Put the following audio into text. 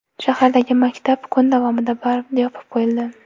Shahardagi maktab kun davomida yopib qo‘yildi.